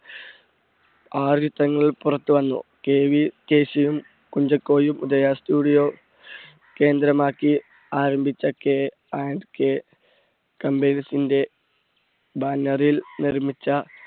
ആറ് ചിത്രങ്ങൾ പുറത്ത് വന്നു KV കേശുവും കുഞ്ചാക്കോയും, ഉദയ studio കേന്ദ്രമാക്കി ആരംഭിച്ച കെ ആൻഡ് കെ banner ൽ നിർമ്മിച്ച